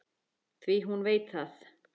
Því hún veit það.